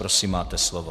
Prosím, máte slovo.